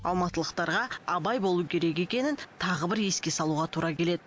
алматылықтарға абай болу керек екенін тағы бір еске салуға тура келеді